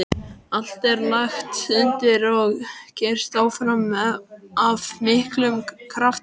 Allt er lagt undir og keyrt áfram af miklum krafti.